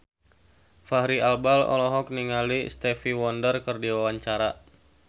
Fachri Albar olohok ningali Stevie Wonder keur diwawancara